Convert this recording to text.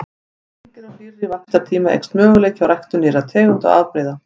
Með lengri og hlýrri vaxtartíma eykst möguleiki á ræktun nýrra tegunda og afbrigða.